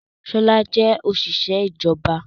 Ṣọl jẹ́ òṣìṣẹ́ ìjọba.